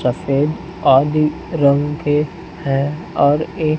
सफेद आदि रंग के है और एक--